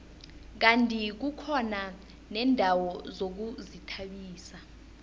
kandi kukhona neendawo zokuzithabisa